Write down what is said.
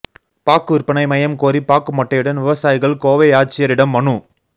பாக்கு விற்பனை மையம் கோரி பாக்கு மட்டையுடன் விவசாயிகள் கோவை ஆட்சியரிடம் மனு